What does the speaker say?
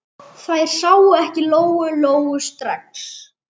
Þær sáu ekki Lóu-Lóu strax.